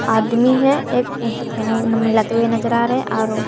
आदमी है एक जो खैनी वैनी मिलाते हुए नजर आ रहे और वो--